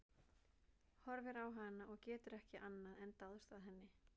Horfir á hana og getur ekki annað en dáðst að henni.